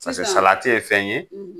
Sisan paseke salati ye fɛn ye